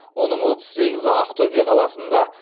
оның отыз сегізі ақтөбе қаласында